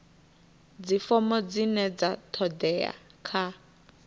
dzifomo dzine dza todea kha